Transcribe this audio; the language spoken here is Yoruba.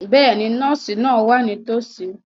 Bẹ́ẹ̀ni, nọ́ọ̀sì náà wà nítòsí.